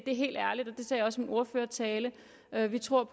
sagde også i min ordførertale at vi tror